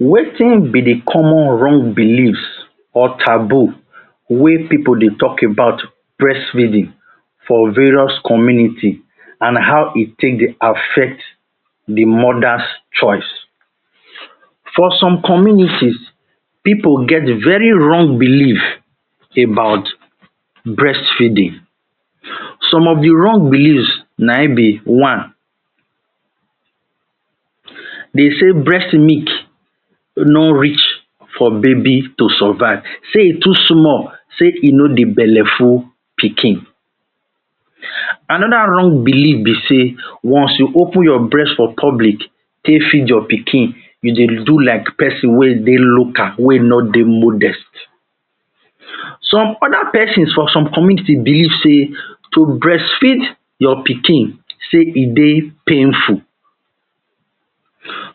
Wetin be di comon wrong belief or taboo wey pipo dey tok about breastfeeding for various community and how e take affect di mothers choice. For some community pipo get very wrong belief about breastfeeding so of di wrong belief na im be one, Dem say breast milk no reach for baby to survive say im too small, say e no dey belle ful pikin. Anoda wrong belief be say once you open your breast for public take feed your pikin you dey do like pesin wey dey local, wey no dey modern, some oda pesins for some community belief say to breast feed your pikin say e dey painful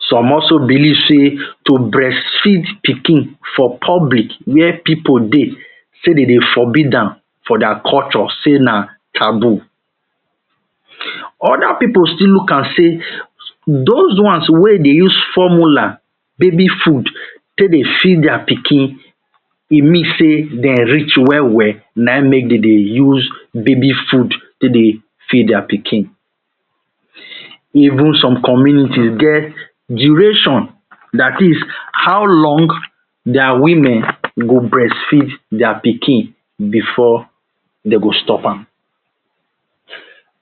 some also biliv say to breast feed pikin for public where pipo dey say dem dey forbid am for dia culture say na taboo, oda pipo still look am say dos ones wey dey use formula baby food take dey feed dia pikin e mean say dem reach wel wel na im make dem dey use baby food take dey feed dia pikin. Even some community get duration dat is how long dia women go breastfeed dia pikin bifor dem go stop am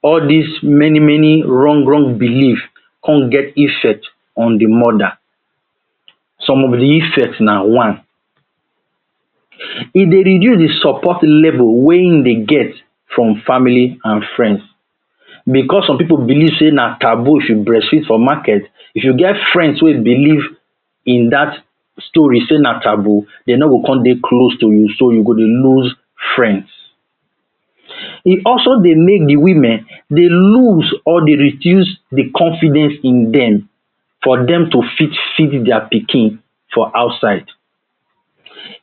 all dis many many wrong wrong biliv come get effect on di mother. Some of di effect na one, E dey reduce di support level wey im dey get from family and friends. Bicos som pipo biliv say na taboo if you breastfeed for market if you get friends wey biliv in dat story na taboo dem no go come dey close to you so you go dey lose friends. E also dey make do women dey lose or reduce di confidence in dem for dem to fit feed dia pikin for outside.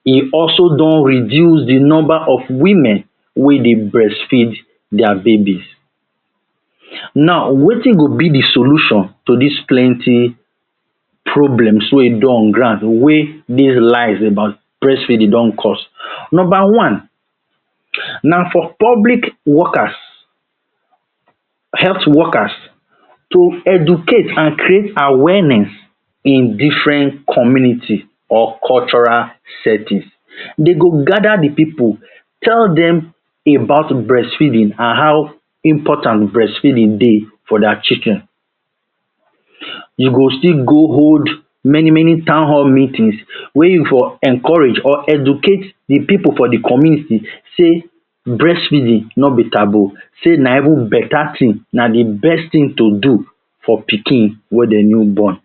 E also don reduce di number of women wey dey breastfeed dia babies. So naw wetin go be di solution to dis plenti problems wey dey on ground wey many lies about breastfeeding don cost Number one na for public workers, health workers to educate and create awareness in different communities or cultural settings, dey go gada di pipo tell dem about breastfeeding and how important breastfeeding dey for dia children, e go still go hold many many townhall meetings wey e for encourage educate di pipo for di community say breast feeding nobi taboo say na even betta tin na di best tin to do for pikin wey dem new born